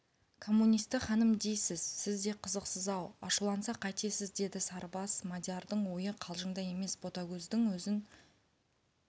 коммунисті ханым дейсіз сіз де қызықсыз-ау ашуланса қайтесіз деді сарыбас мадиярдың ойы қалжыңда емес ботагөздің өзін